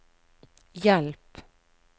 hjelp